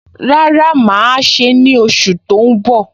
Rárá, mà á ṣe é ní oṣù tó ń bọ̀